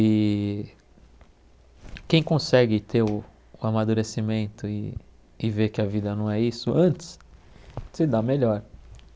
E quem consegue ter o o amadurecimento e e ver que a vida não é isso antes, se dá melhor.